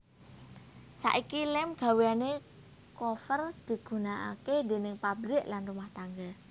Saiki lem gawéane Coover digunakake déning pabrik lan rumah tangga